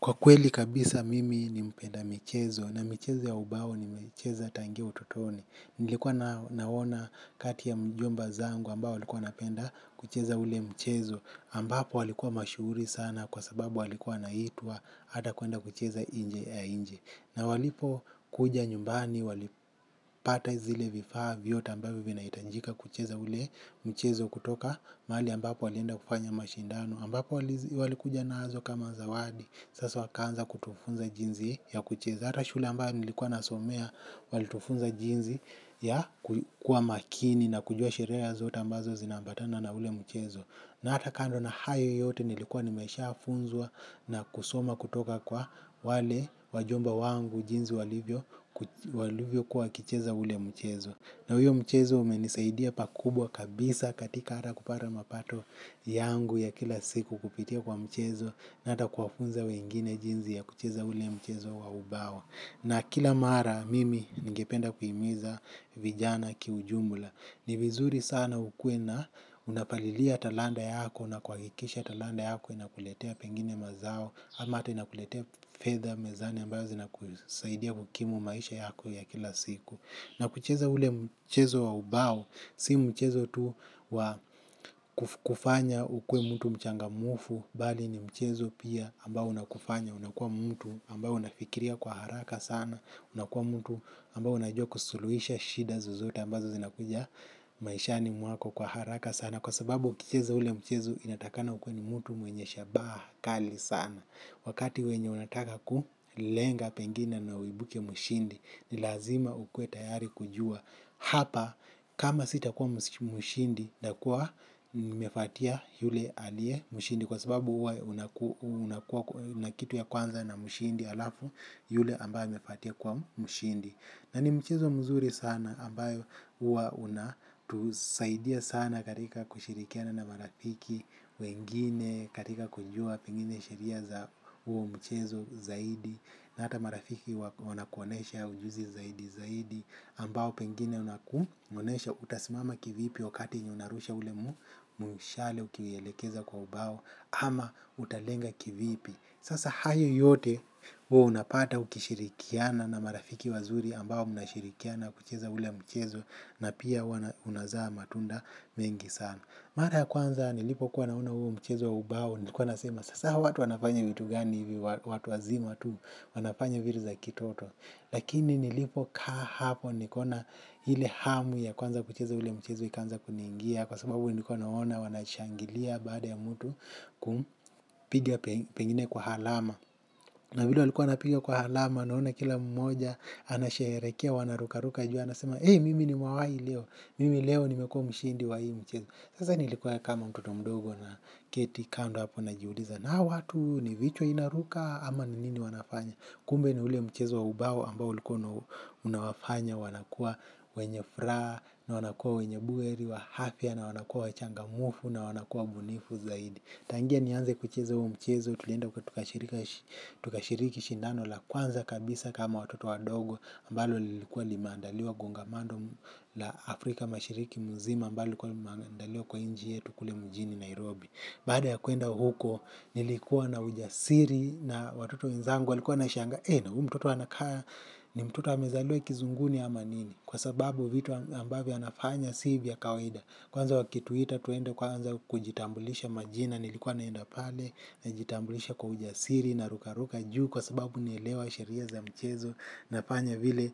Kwa kweli kabisa mimi ni mpenda michezo na michezo ya ubao ni michezo ya tangia utotoni. Nilikuwa naona kati ya mjomba zangu ambao walikuwa wanapenda kucheza ule mchezo. Ambapo walikuwa mashuhuri sana kwa sababu walikuwa wanaitwa hata kuenda kucheza inje ya nchi. Na walipo kuja nyumbani walipata zile vifaa vyote ambavyo vinaitajika kucheza ule mchezo kutoka. Mahali ambapo walienda kufanya mashindano ambapo walikuja nazo kama zawadi. Sasa wakaanza kutufunza jinzi ya kucheza. Hata shule ambayo nilikuwa nasomea walitufunza jinzi ya kukua makini na kujua sheria zote ambazo zinaambatana na ule mchezo na hata kando na hayo yote nilikuwa nimeshaa funzwa na kusoma kutoka kwa wale wajomba wangu jinzi walivyo walivyo kuwa wakicheza ule mchezo na huyo mchezo umenisaidia pakubwa kabisa. Katika hata kupata mapato yangu ya kila siku kupitia kwa mchezo na hata kuwafunza wengine jinzi ya kucheza ule mchezo wa ubao na kila mara mimi ningependa kuhimiza vijana kiujumla. Ni vizuri sana ukuwe na unapalilia talanta yako na kwa hikisha talanta yako inakuletea pengine mazao ama hata inakuletea fedha mezani ambayo zina kusaidia kukimu maisha yako ya kila siku na kucheza ule mchezo wa ubao si mchezo tu wa kufanya ukuwe mtu mchangamufu, bali ni mchezo pia ambao unakufanya, unakua mtu amba unafikiria kwa haraka sana, unakua mtu ambae unajua kusuluhisha shida zozote ambazo zinakuja maishani mwako kwa haraka sana. Na kwa sababu ukicheza ule mchezo inatakana ukuwe ni mtu mwenye shabaa kali sana. Wakati wenye unataka kulenga pengine na uibuke mshindi. Ni lazima ukuwe tayari kujua. Hapa kama sitakuwa mshindi ntakuwa nimefuatia yule alie mshindi. Kwa sababu uwa una kitu ya kwanza na mshindi alafu yule ambaye amefuatia kuwa mshindi. Na ni mchezo mzuri sana ambayo uwa unatusaidia sana katika kushirikiana na marafiki wengine katika kujua pengine sheria za huo mchezo zaidi na hata marafiki wanakuonesha ujuzi zaidi zaidi ambayo pengine unakuonesha utasimama kivipi wakati ni unarusha ule mushale ukielekeza kwa ubao ama utalenga kivipi. Sasa hayo yote huwo unapata ukishirikiana na marafiki wazuri ambao unashirikiana kucheza ule mchezo na pia unazaa matunda mengi sana. Mara ya kwanza nilipo kuwa naona huo mchezo wa ubao nilikuwa nasema sasa hawa watu wanafanya vitu gani hivi. Watu wazima tu. Wanafanya vitu za kitoto lakini nilipo kaa hapo nikaona hile hamu ya kuanza kucheza ule mchezo ikaanza kuniingia kwa sababu nilikuwa naona wanashangilia ya baada ya mutu kumpiga pengine kwa halama. Na vile walikuwa wanapigia kwa halama naona kila mmoja anasherehekea wanarukaruka juu anasema eh mimi nimewai leo, mimi leo nimekuwa mshindi wa hii mchezo. Sasa nilikuwa kama mtoto mdogo na keti kando hapo na jiuliza na hawa watu ni vichwa inaruka ama nini wanafanya. Kumbe ni ule mchezo wa ubao ambao ulikuwa unawafanya wanakuwa wenye furaha na wanakua wenye buheri wa afya na wanakuwa wachangamufu na wanakuwa mbunifu zaidi. Tangia nianze kuchezo huu mchezo, tulienda huko tukashiriki shindano la kwanza kabisa kama watoto wadogo ambalo lilikuwa limeandaliwa kongamano la Afrika mashiriki mzima ambalo lilikuwa limeandaliwa kwa nchi yetu kule mjini Nairobi. Baada ya kuenda huko, nilikuwa na ujasiri na watoto wenzangu walikuwa wanashanga, e na huu mtoto anakaa, ni mtoto amezaliwe kizunguni ama nini, kwa sababu vitu ambavyo anafanya si vya kawaida. Kwanza wakituita tuende kwanza kujitambulisha majina nilikuwa naenda pale najitambulisha kwa ujasiri na ruka ruka juu kwa sababu naelewa sheria za mchezo nafanya vile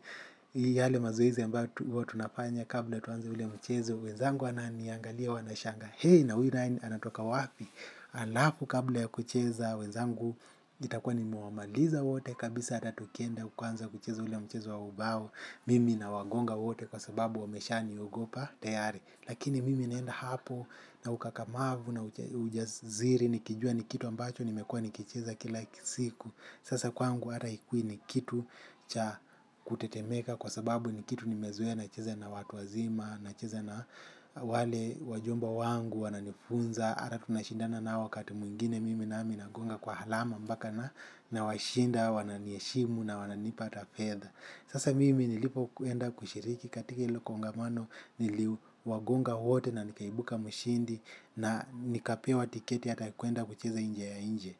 yale mazoize ambayo tunafanya kabla tuanze ule mchezo wenzangu wananiangalia wanashanga he na huyu ryan anatoka wapi alafu kabla ya kucheza wenzangu itakua nimewamaliza wote kabisa ata tukienda kwanza kucheza ule mchezo wa ubao mimi na wagonga wote kwa sababu wamesha niogopa tayari lakini mimi naenda hapo na ukakamavu na ujaziri nikijua ni kitu ambacho nimekuwa nikicheza kila siku. Sasa kwangu hata hikui ni kitu cha kutetemeka kwa sababu ni kitu nimezoea nacheza na watu wazima. Nacheza na wale wajomba wangu wananifunza ata tunashindana nao wakati mwingine mimi nami nagonga kwa halama mbaka na nawashinda wananiheshimu na wananipa hata fedha. Sasa mimi nilipo kuenda kushiriki katika hilo kongamano niliwagonga wote na nikaibuka mshindi na nikapewa tiketi hata ya kuenda kucheza inje ya inchi.